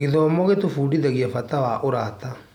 Gĩthomo gĩtũbundithagia bata wa ũrata.